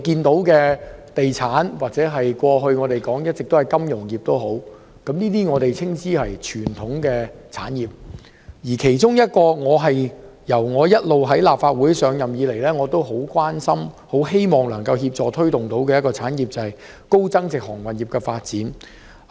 地產業及過去大家一直談論的金融業，我們稱之為傳統產業，而自我出任立法會議員以來一直非常關心，並希望可以協助推動發展的產業，是高增值航運業。